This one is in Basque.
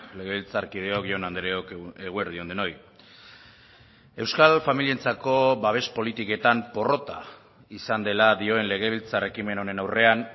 legebiltzarkideok jaun andreok eguerdi on denoi euskal familientzako babes politiketan porrota izan dela dioen legebiltzar ekimen honen aurrean